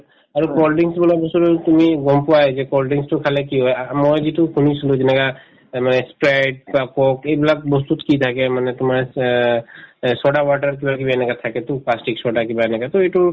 আৰু cold drinks বোলা বস্তুতো তুমি গম পোৱাই যে cold drinks তো খালে কি হয় আ আ মই যিটো শুনিছিলো যেনেকা এই মানে sprite বা coke এইবিলাক বস্তুত কি থাকে মানে তোমাৰ অ এই soda powder কিবাকিবি এনেকুৱা থাকেতো plastic soda কিবা এনেকা to এইটো